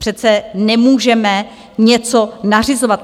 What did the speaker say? Přece nemůžeme něco nařizovat.